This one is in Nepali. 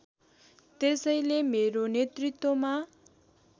त्यसैले मेरो नेतृत्वमा